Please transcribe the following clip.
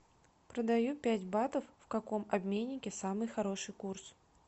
продаю пять батов в каком обменнике самый хороший курс